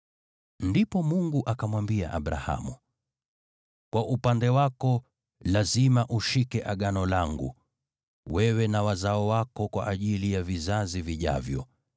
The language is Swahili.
Ndipo Mungu akamwambia Abrahamu, “Kwa upande wako, lazima ushike Agano langu, wewe na wazao wako kwa ajili ya vizazi vijavyo.